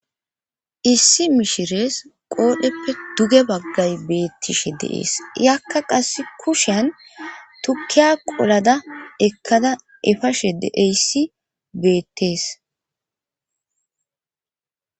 issi mishirees qoodheppe duge baggay beettishe deees yakka qass kushen tukiya qolada ekkada efashe deeyssi beettees